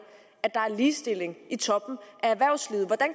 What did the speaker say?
at der er ligestilling i toppen